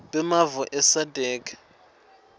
bemave e sadc